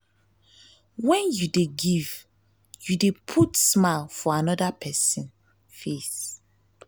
wen you dey give you dey put smile for amoda pesin face.